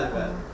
Bəli, bəli.